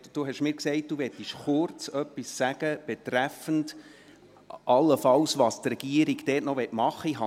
Sie haben mir gesagt, Sie möchten etwas sagen betreffend das, was die Regierung dort allenfalls noch machen will.